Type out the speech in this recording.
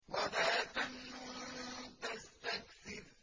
وَلَا تَمْنُن تَسْتَكْثِرُ